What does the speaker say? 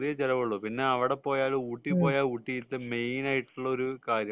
ചെറിയ ചെലവെ ഉള്ളൂ പിന്നെ അവിടെ പോയാൽ ഊട്ടി പോയാൽ ഊട്ടിലത്തെ മെയിൻ ആയിട്ടുള്ള ഒരു കാര്യം